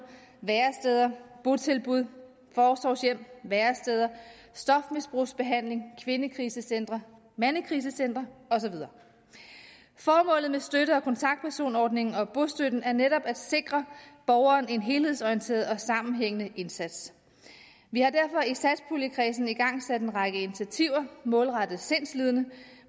væresteder botilbud forsorgshjem stofmisbrugsbehandling kvindekrisecentre mandekrisecentre og så videre formålet med støtte og kontaktpersonordningen og bostøtten er netop at sikre borgeren en helhedsorienteret og sammenhængende indsats vi har derfor i satspuljekredsen igangsat en række initiativer målrettet sindslidende